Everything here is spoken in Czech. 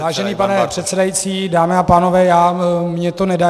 Vážený pane předsedající, dámy a pánové, mně to nedá.